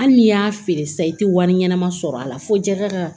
Hali n'i y'a feere sisan i tɛ wari ɲɛnama sɔrɔ a la fo jakaga